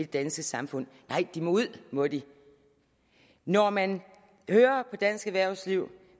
danske samfund nej de må ud må de når man hører på dansk erhvervsliv